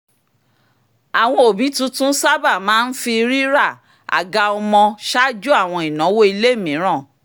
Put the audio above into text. àwọn òbí tuntun sábà máa ń fi rira àga ọmọ ṣáájú àwọn ináwó ilé mìíràn*